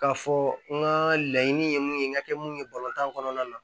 K'a fɔ n ka laɲini ye mun ye n ka kɛ mun ye tan kɔnɔna na